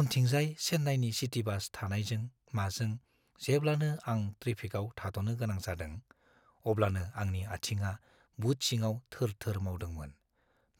उनथिंजाय चेन्नाइनि city bus थानायजों-माजों जेब्लानो आं ट्रेफिकाव थाद'नो गोनां जादों, अब्लानो आंनि आथिङा बुट सिङाव थोर-थोर मावदोंमोन।